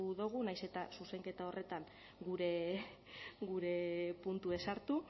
dogu nahiz eta zuzenketa horretan gure puntue sartu